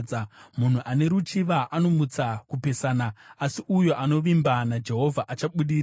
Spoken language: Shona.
Munhu ane ruchiva anomutsa kupesana, asi uyo anovimba naJehovha achabudirira.